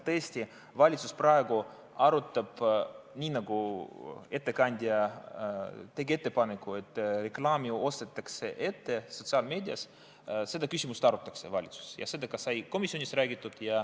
Tõesti, valitsus praegu arutab, nagu ettekandja tegi ettepaneku, et reklaami sotsiaalmeedias ostetaks ette, seda küsimust arutatakse valitsuses ja seda sai ka komisjonis räägitud.